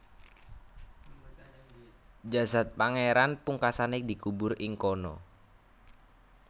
Jasad pangeran pungkasane dikubur ing kono